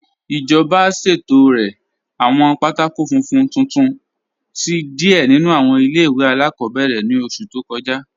Ijọba ṣẹ̀tọ̀rẹ̀ awọn pátákò fúnfún tuntun sí díẹ̀ nínu awọn ilẹ̀-iwe aláàkọ̀bẹ̀rẹ̀ ni ọṣù tó kọja.